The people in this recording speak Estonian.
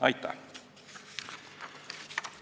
Aitäh!